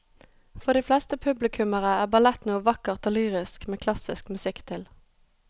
For de fleste publikummere er ballett noe vakkert og lyrisk med klassisk musikk til.